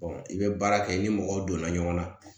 i bɛ baara kɛ i ni mɔgɔw donna ɲɔgɔn na